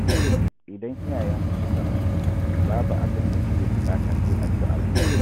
Idan iyayenku suka rasu, babu abinda suke buƙata sai addu'arku